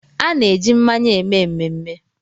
A na-eji mmanya eme mmemme